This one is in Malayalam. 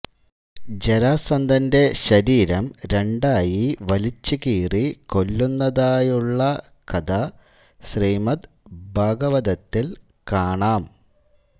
ജരാസന്ധൻെറ ശരീരം രണ്ടായി വലിച്ചു കീറി കൊല്ലുന്നതായുള്ള കഥ ശ്രീമദ് ഭാഗവതത്തിൽ കാണാം